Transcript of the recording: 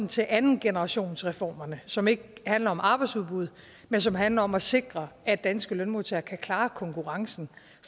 til andengenerationsreformerne som ikke handler om arbejdsudbuddet men som handler om at sikre at danske lønmodtagere kan klare konkurrencen